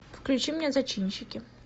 включи мне зачинщики